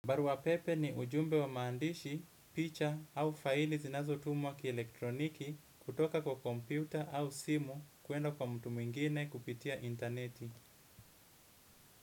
Barua pepe ni ujumbe wa maandishi, picha au faili zinazo tumwa kielektroniki kutoka kwa kompyuta au simu kuenda kwa mtu mwingine kupitia interneti.